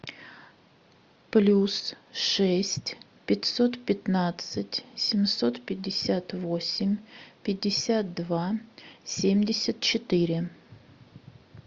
плюс шесть пятьсот пятнадцать семьсот пятьдесят восемь пятьдесят два семьдесят четыре